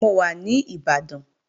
Mò wa ní Ìbàdàn